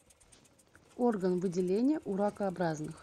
орган выделения у ракообразных